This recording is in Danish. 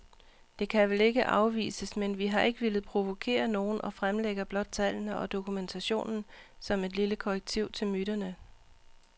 Det kan vel ikke afvises, men vi har ikke villet provokere nogen og fremlægger blot tallene og dokumentationen som et lille korrektiv til myterne.